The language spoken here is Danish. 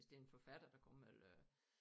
Bestemt forfatter der kommer eller